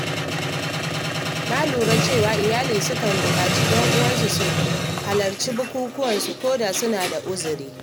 Na lura cewa iyali sukan bukaci ƴan uwansu su halarci bukukuwansu ko da suna da uzuri.